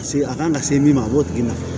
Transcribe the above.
Paseke a kan ka se min ma a b'o tigi na